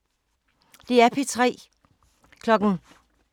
DR P3